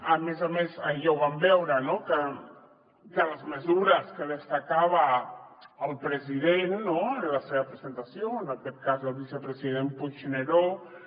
a més a més ahir ja ho vam veure no que de les mesures que destacava el president en la seva presentació en aquest cas el vicepresident puigneró